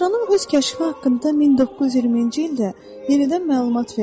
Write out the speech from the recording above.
Astronom öz kəşfi haqqında 1920-ci ildə yenidən məlumat verdi.